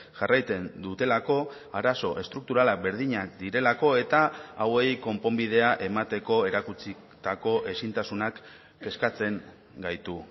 jarraitzen dutelako arazo estrukturalak berdinak direlako eta hauei konponbidea emateko erakutsitako ezintasunak kezkatzen gaitu